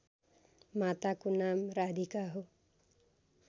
माताको नाम राधिका हो